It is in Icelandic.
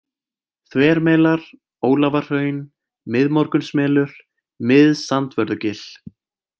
Þvermelar, Ólafarhraun, Miðmorgunsmelur, Mið-Sandvörðugil